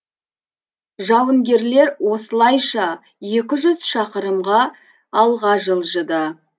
жауынгерлер осылайша екі жүз шақырымға алға жылжыды